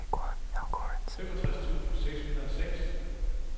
femogtres tusind seks hundrede og seks